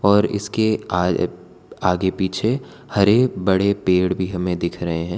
और इसके आ आगे पीछे हरे बड़े पेड़ भी हमें दिख रहे हैं।